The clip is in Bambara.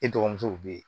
E dɔgɔmusow bɛ yen